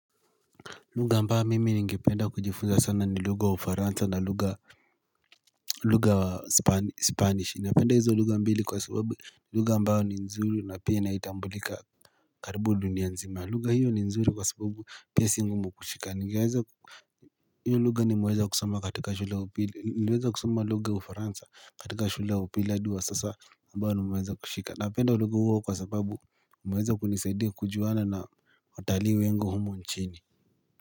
Lugha ambayo mimi ningependa kujifunza sana ni lugha uFransa na lugha lugha spanish napenda hizo lugha mbili kwa subabu lugha ambayo ni nzuri na pia inatambulika karibu dunia nzima lugha hiyo ni nzuri kwa sababu pia si ngumu kushika ningeweza hiyo lugha nimeweza kusoma katika shule ya upili niliweza kusoma lugha ya uFransa katika shula upili hadi wa sasa ambayo nimeza kushika napenda lugha hio kwa sababu imeweza kunisaidia kujuana na watalii wengi wa humo nchini.